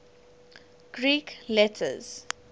greek letters